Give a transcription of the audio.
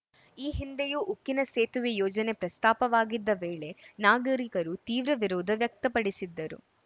ಈ ಹಿಂದೆಯೂ ಉಕ್ಕಿನ ಸೇತುವೆ ಯೋಜನೆ ಪ್ರಸ್ತಾಪವಾಗಿದ್ದ ವೇಳೆ ನಾಗರಿಕರು ತೀವ್ರ ವಿರೋಧ ವ್ಯಕ್ತಪಡಿಸಿದ್ದರು